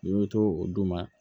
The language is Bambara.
N'i bɛ to o duguma